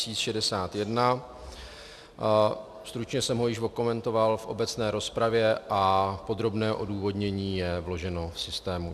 Stručně jsem ho již okomentoval v obecné rozpravě a podrobné odůvodnění je vloženo v systému.